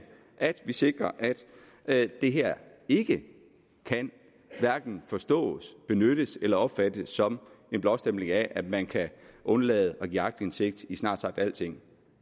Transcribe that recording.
at vi sikrer at det her ikke kan hverken forstås benyttes eller opfattes som en blåstempling af at man kan undlade at give aktindsigt i snart sagt alting